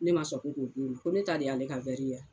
Ne ma sɔn ko k'o d'o ma, ko ne ta de y'ale ka ya?